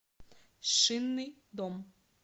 шинный дом